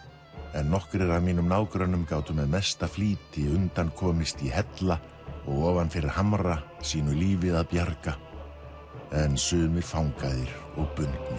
en nokkrir af mínum nágrönnum gátu með mesta flýti undan komist í hella og ofan fyrir hamra sínu lífi að bjarga en sumir fangaðir og